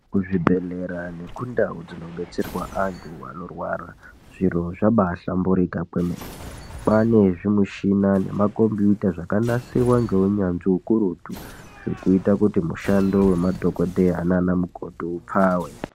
Kuzvibhedhlera nekundau dzinobetserwa antu anenge achirwara zviro zvabahlamburuka kwemene. Kwane zvimushina nemakombiyuta zvakanasirwa neunyanzvi ukurutu zvinoita kuti mushando wemadhokodheya nana mukoti upfawe.